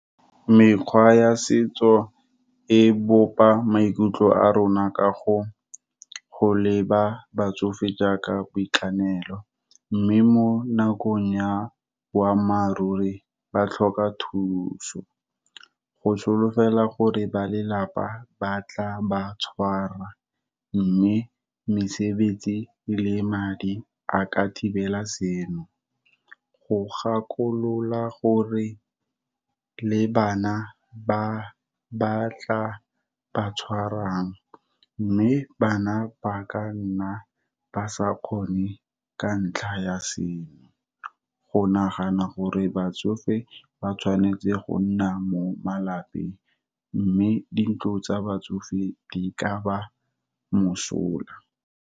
Mekgwa ya setso e bopa maikutlo a rona ka go leba batsofe jaaka boitekanelo, mme mo nakong ya boammaaruri ba tlhoka thuso. Go solofela gore ba lelapa ba tla ba tshwara mme mesebetsi le madi a ka thibela seno. Go gakolola gore le bana ba ba tla ba tshwarang, mme bana ba ka nna ba sa kgone ka ntlha ya seo, go nagana gore batsofe ba tshwanetse go nna mo malapeng, mme di ntlo tsa batsofe di kaba mosola.